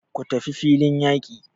Ku tafi filin yaki!